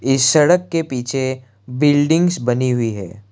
इस सड़क के पीछे बिल्डिंग्स बनी हुई है।